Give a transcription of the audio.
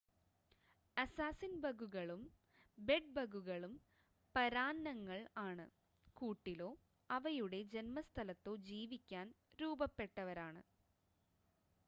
അസ്സാസിൻ-ബഗുകളും ബെഡ്-ബഗുകളും പരാന്നങ്ങൾ ആണ് കൂട്ടിലോ അവയുടെ ജൻമസ്ഥലത്തോ ജീവിക്കാൻ രൂപപ്പെട്ടവരാണ്